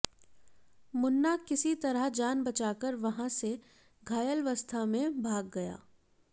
मुन्ना किसी तरह जान बचाकर वहां से घायलावस्था में भाग गया